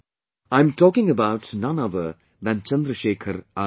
I am talking about none other than Chandrasekhar Azad